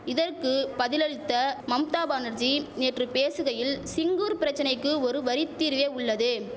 இதற்கு பதிலளித்த மம்தா பானர்ஜீ நேற்று பேசுகையில் சிங்கூர் பிரச்சனைக்கு ஒரு வரி தீர்வே உள்ளது